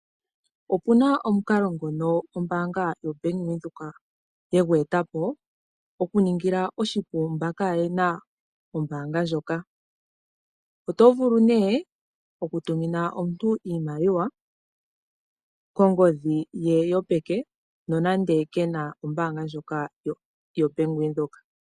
Opu na omukalo ngono gwe etwa po kombaanga yoBank Windhoek, okuningila mboka kaaye na ombaanga ndjika oshipu okutuma iimaliwa. Oto vulu nduno okutumina omuntu iimaliwa kongodhi yopeke nonando ke na ombaanga ndjoka yoBank Windhoek.